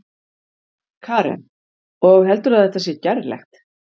Karen: Og heldurðu að þetta sé gerlegt?